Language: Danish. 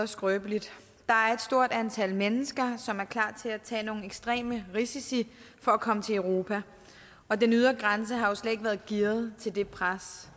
skrøbeligt der er et stort antal mennesker som er klar til at tage nogle ekstreme risici for at komme til europa og den ydre grænse har jo slet ikke været gearet til det pres